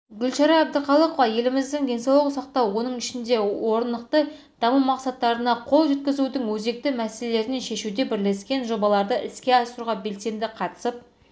гүлшара әбдіқалықова еліміздің денсаулық сақтау оның ішінде орнықты даму мақсаттарына қол жеткізудің өзекті мәселелерін шешуде бірлескен жобаларды іске асыруға белсенді қатысып